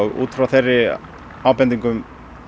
út frá þeim ábendingum